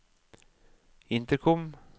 intercom